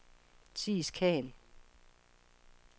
Theis Khan